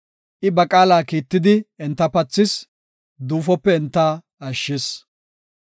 I ba qaala kiittidi enta pathis; duufope enta ashshis.